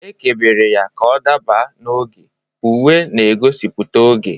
Ekebere ya ka ọ dabara n'oge, uwe na-egosipụta oge.